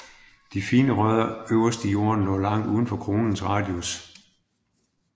De fine rødder øverst i jorden når langt udenfor kronens radius